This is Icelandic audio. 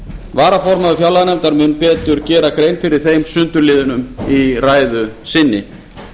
varaformaður fjárlaganefndar mun betur gera grein fyrir þeim sundurliðunum í ræðu sinni